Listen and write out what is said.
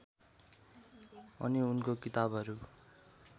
अनि उनको किताबहरू